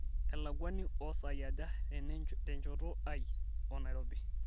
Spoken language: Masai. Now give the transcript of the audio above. elakuani oosaai aja tenchoto ai o nairobi